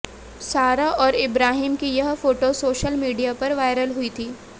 सारा और इब्राहिम की यह फोटो सोशल मीडिया पर वायरल हुई थी